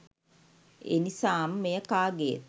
එනිසාම මෙය කාගේත්